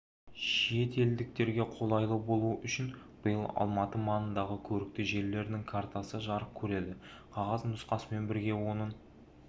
шетелдіктерге қолайлы болу үшін биыл алматы маңындағы көрікті жерлердің картасы жарық көреді қағаз нұсқасымен бірге оның